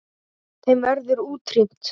Þeim verður útrýmt.